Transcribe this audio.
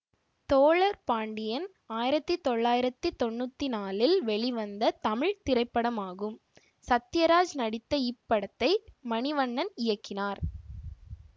தோழர் பாண்டியன் ஆயிரத்தி தொள்ளாயிரத்தி தொன்னூற்தி நாழில் வெளிவந்த தமிழ் திரைப்படமாகும் சத்யராஜ் நடித்த இப்படத்தை மணிவண்ணன் இயக்கினார்